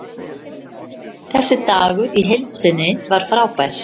Þessi dagur í heild sinni var frábær.